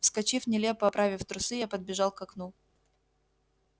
вскочив нелепо оправив трусы я подбежал к окну